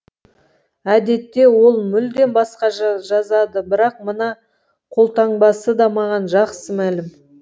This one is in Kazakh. әдетте ол мүлдем басқаша жазады бірақ мына қолтаңбасы да маған жақсы мәлім